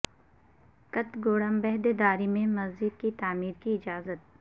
کتہ گوڑم بھدرادری میں مسجد کی تعمیر کی اجازت